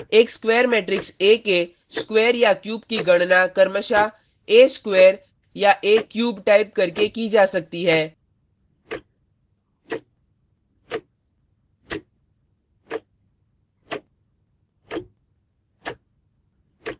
एक square matrix a के square या क्यूब की गणना क्रमशः a स्क्वायर या a क्यूब टाइप करके की जा सकती है